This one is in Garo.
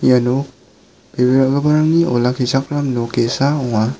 ia nok bebe ra·giparangni olakkichakram nok ge·sa ong·a.